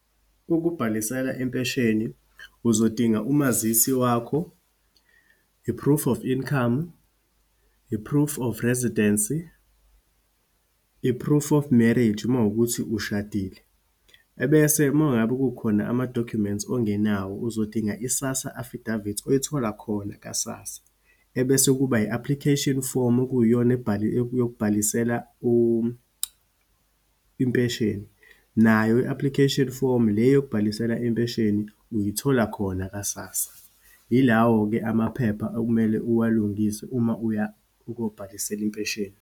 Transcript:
Ukubhalisela impesheni, uzodinga umazisi wakho, i-proof of income, i-proof of residency, i-proof of marriage, uma wukuthi ushadile, ebese uma ngabe kukhona amadokhumenti ongenawo, uzodinga i-SASSA affidavit, oyithola khona ka-SASSA. Ebese kuba i-application form, okuyiyona yokubhalisela impesheni. Nayo i-application form le yokubhalisela impesheni, uyithola khona ka-SASSA. Yilawo-ke amaphepha okumele uwalungise uma uya ukuyobhalisela impesheni.